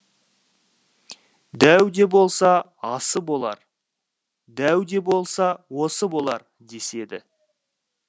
дәу де болса болар дәу де болса осы болар деседі